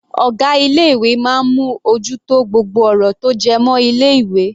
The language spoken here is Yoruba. Ọ̀gá ilé ìwé máa ń mú ojú tó gbogbo ọ̀rọ̀ tó jẹ́ mọ́ ilé ìwé.